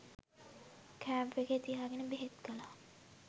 Camp එකේ තියාගෙන බෙහෙත් කළා.